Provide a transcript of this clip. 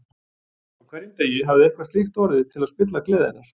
Á hverjum degi hafði eitthvað slíkt orðið til að spilla gleði hennar.